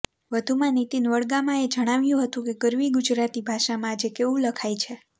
વધુમાં નિતિન વડગામાએ જણાવ્યું હતુ કે ગરવી ગુજરાતી ભાષામાં આજે કેવું લખાય છે